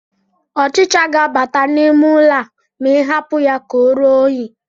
Ọchịcha ga-abata n'ime ụlọ a ma ị hapụ ya ka oruo unyi